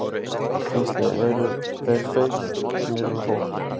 Gísli: Eru þeir feimnir við fólk?